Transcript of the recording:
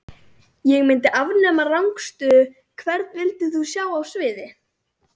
Ég myndi afnema rangstöðu Hvern vildir þú sjá á sviði?